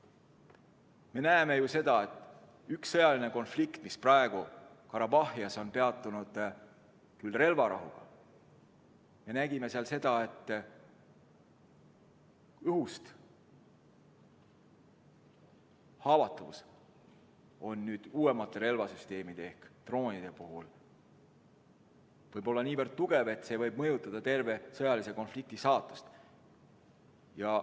Me nägime selle sõjalise konflikti ajal, mis praegu Karabahhis on peatunud, küll relvarahuga, et haavatavus õhust võib uuemate relvasüsteemide ehk droonide puhul olla niivõrd tugev, et see võib mõjutada terve sõjalise konflikti saatust.